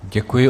Děkuju.